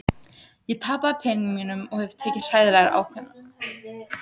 Frank var mikilvægur fyrir okkur.